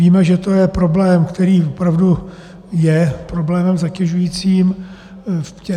Víme, že to je problém, který opravdu je problémem zatěžujícím.